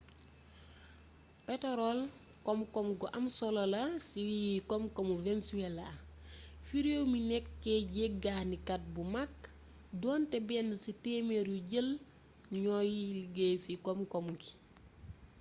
petorol koom gu am solo la ci koom koomu venezuela fi réew mi nekké jéggani kat bu mag donté benn ci témér yo jël ñooy liggéy ci koom koom ngi